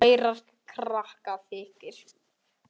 Kærar þakkir